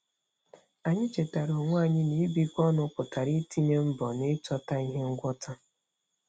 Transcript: Anyị chetara onwe anyị na ibikọ ọnụ pụtara itinye mbọ n'ịchọta ihe ngwọta.